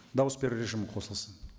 дауыс беру режимі қосылсын